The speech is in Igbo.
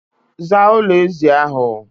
Zaa ụlọ ezi ahụ!